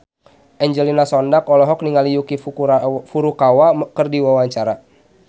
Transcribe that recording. Angelina Sondakh olohok ningali Yuki Furukawa keur diwawancara